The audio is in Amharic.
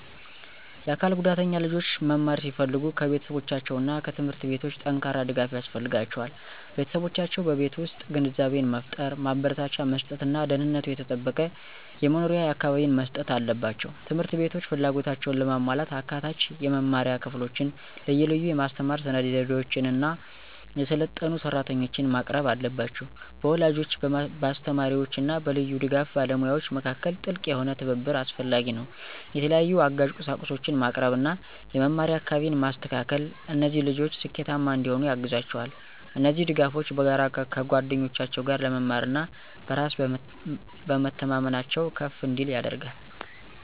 የአካል ጉዳተኛ ልጆች መማር ሲፈልጉ ከቤተሰቦቻቸው እና ከትምህርት ቤቶች ጠንካራ ድጋፍ ያስፈልጋቸዋል። ቤተሰቦቻቸው በቤት ውስጥ ግንዛቤን መፍጠር፣ ማበረታቻ መስጥት እና ደህንነቱ የተጠበቀ የመኖሪያ አካባቢን መስጠት አለባቸው። ት/ቤቶች ፍላጎታቸውን ለማሟላት አካታች የመማሪያ ክፍሎችን፣ ልዩ ልዩ የማስተማር ስነዘዴዎችን እና የሰለጠኑ ሰራተኞችን ማቅረብ አለባቸው። በወላጆች፣ በአስተማሪዎች እና በልዩ ድጋፍ ባለሙያዎች መካከል ጥልቅ የሆነ ትብብር አስፈላጊ ነው። የተለያዩ አጋዥ ቁሳቁሶችን ማቅረብ እና የመማሪያ አካባቢን ማስተካከል እነዚህ ልጆች ስኬታማ እንዲሆኑ ያግዛቸዋል። እነዚህ ድጋፎች በጋራ ከጓደኞቻቸው ጋር ለመማር እና በራስ በመተማመናቸው ከፍ እንዲል ያደርጋል።